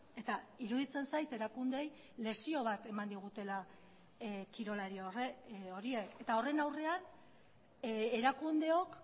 eta iruditzen zait erakundeei lezio bat eman digutela kirolari horiek eta horren aurrean erakundeok